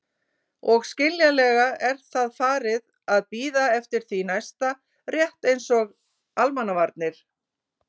Og skiljanlega er það farið að bíða eftir því næsta, rétt eins og Almannavarnir.